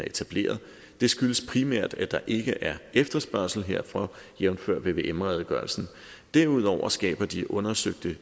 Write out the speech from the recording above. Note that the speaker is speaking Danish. etableret det skyldes primært at der ikke er efterspørgsel herfor jævnfør vvm redegørelsen derudover skaber de undersøllebugten